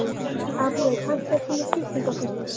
Árney, pantaðu tíma í klippingu á föstudaginn.